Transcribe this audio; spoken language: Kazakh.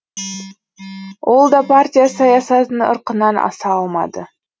ол да партия саясатының ырқынан аса алмады